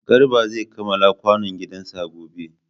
Garba zai kamala kwanon gidan sa gobe